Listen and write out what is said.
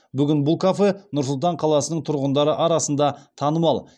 бүгін бұл кафе нұр сұлтан қаласының тұрғындары арасында танымал